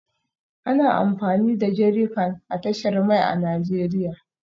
Ana amfani da jerrycan a tashar mai a Najeriya